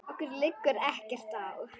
Okkur liggur ekkert á